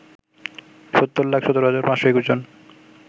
৭০ লাখ ১৭ হাজার ৫২১ জন